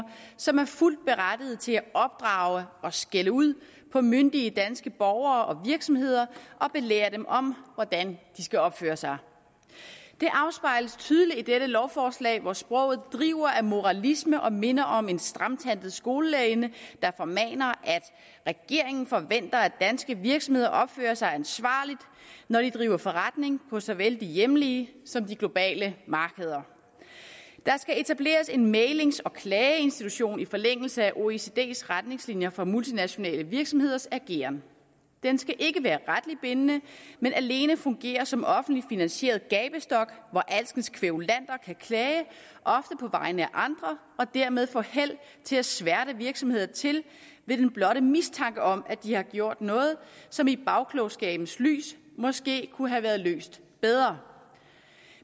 som er fuldt berettiget til at opdrage og skælde ud på myndige danske borgere og virksomheder og belære dem om hvordan de skal opføre sig det afspejles tydeligt i dette lovforslag hvor sproget driver af moralisme og minder om en stramtandet skolelærerinde der formaner at regeringen forventer at danske virksomheder opfører sig ansvarligt når de driver forretning på såvel de hjemlige som de globale markeder der skal etableres en mæglings og klageinstitution i forlængelse af oecds retningslinjer for multinationale virksomheders ageren den skal ikke være retligt bindende men alene fungere som offentligt finansieret gabestok hvor alskens kværulanter kan klage af andre og dermed få held til at sværte virksomheder til ved den blotte mistanke om at de har gjort noget som i bagklogskabens lys måske kunne have været løst bedre